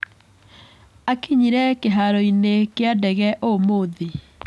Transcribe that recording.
Akinyire kĩharoinĩ kĩa ndege ũmũthĩ.